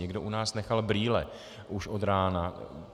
Někdo u nás nechal brýle už od rána.